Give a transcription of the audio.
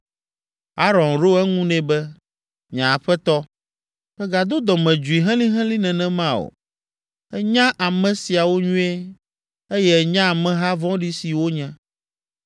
Aron ɖo eŋu nɛ be, “Nye aƒetɔ, mègado dɔmedzoe helĩhelĩ nenema o. Ènya ame siawo nyuie, eye ènya ameha vɔ̃ɖi si wonye.